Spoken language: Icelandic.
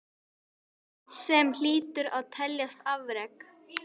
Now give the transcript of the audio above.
Sem hlýtur að teljast afrek.